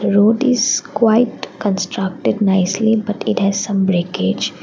road is quite constructed nicely but it has some breakage.